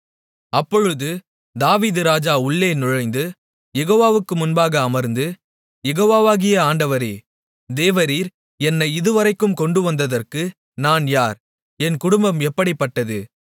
அப்பொழுது தாவீது ராஜா உள்ளே நுழைந்து யெகோவாவுக்கு முன்பாக அமர்ந்து யெகோவாவாகிய ஆண்டவரே தேவரீர் என்னை இதுவரைக்கும் கொண்டுவந்ததற்கு நான் யார் என் குடும்பம் எப்படிப்பட்டது